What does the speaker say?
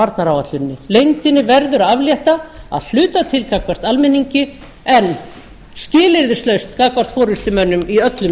varnaráætluninni leyndinni verður að aflétta að hluta til gagnvart almenningi en skilyrðislaust gagnvart forustumönnum í öllum